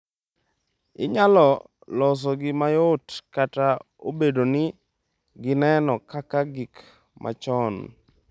inyalo losogi mayot kata obedo ni gineno kaka gik machon.